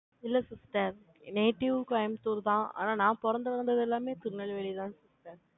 இல்ல, sister native, கோயம்புத்தூர்தான். ஆனா, நான், பிறந்து வளர்ந்தது எல்லாமே, திருநெல்வேலிதான், sister